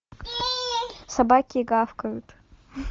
собаки гавкают